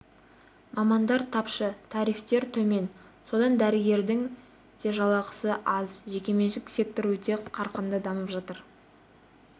мамандар тапшы тарифтер төмен содан дәрігердің де жалақысы аз жеке-меншік сектор өте қарқынды дамып жатыр